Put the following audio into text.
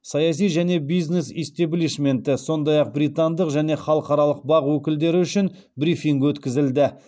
саяси және бизнес истеблишменті сондай ақ британдық және халықаралық бақ өкілдері үшін брифинг өткізілді